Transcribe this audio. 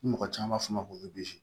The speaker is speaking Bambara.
Ni mɔgɔ caman b'a fɔ ma ko